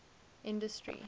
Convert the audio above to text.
industry